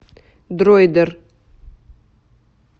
дроидер